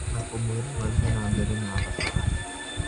Na kũmwĩra mathiĩ na mbere na thabarĩ.